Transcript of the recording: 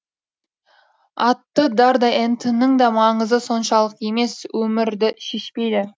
аты дардай ент ның да маңызы соншалық емес өмірді шешпейді